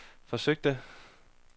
forsøgte